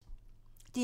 DR1